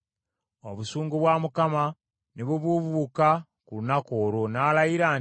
Obusungu bwa Mukama ne bubuubuuka ku lunaku olwo, n’alayira nti,